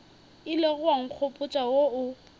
ilego wa nkgopotša wo o